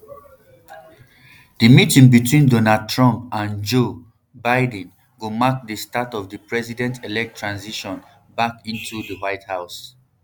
di meeting between donald trump and joe um biden go mark di start of di presidentelect transition back into di white house